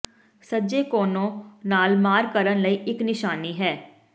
ਸੱਜੇ ਕੋਨੋ ਨਾਲ ਮਾਰ ਕਰਨ ਲਈ ਇੱਕ ਨਿਸ਼ਾਨੀ ਹੈ